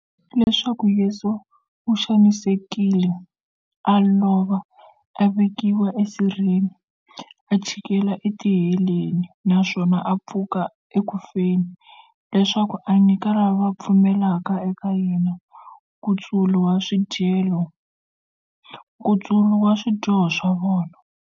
Leswaku Yesu u xanisekile, a lova, a vekiwa e sirheni, a chikela e tiheleni, naswona a pfuka eku feni, leswaku a nyika lava va pfumelaka eka yena, nkutsulo wa swidyoho swa vona.